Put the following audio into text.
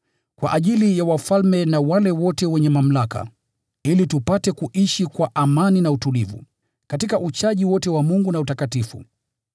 kwa ajili ya wafalme na wale wote wenye mamlaka, ili tupate kuishi kwa amani na utulivu, katika uchaji wote wa Mungu na utakatifu.